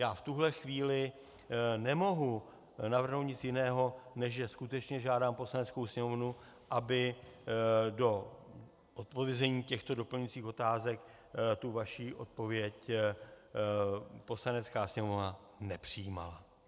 Já v tuhle chvíli nemohu navrhnout nic jiného, než že skutečně žádám Poslaneckou sněmovnu, aby do zodpovězení těchto doplňujících otázek tu vaši odpověď Poslanecká sněmovna nepřijímala.